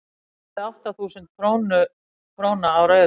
veðjaðu átta þúsund króna á rauðan